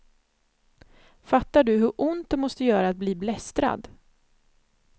Fattar du hur ont det måste göra att bli blästrad?